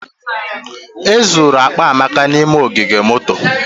E zuru akpa Amaka n'ime ogige moto